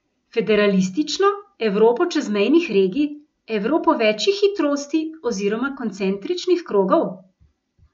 Federalistično, Evropo čezmejnih regij, Evropo večih hitrosti oziroma koncentričnih krogov?